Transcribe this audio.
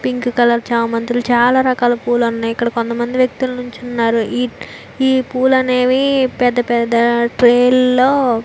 pink colour చామంతులు చాల రకాల పూలు ఉన్నాయ్ ఇక్కడ కొంత మంది వ్యక్తులు నిల్చున్నారు ఈ ఈ పూలు అనేవి పెద్ద పెద్ద ట్రే లో --